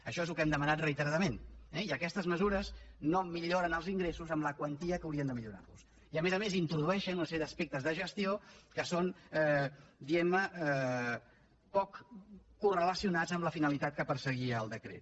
això és el que hem demanat reiteradament eh i aquestes mesures no milloren els ingressos amb la quantia amb què haurien de millorar los i a més a més introdueixen una sèrie d’aspectes de gestió que són diguem ne poc correlacionats amb la finalitat que perseguia el decret